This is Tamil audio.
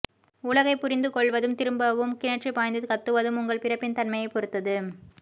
உலகைப் புரிந்து கொள்வதும் திரும்பவும் கிணற்றிப் பாய்ந்து கத்துவதும் உங்கள் பிறப்பின் தன்மையைப் பொறுத்தது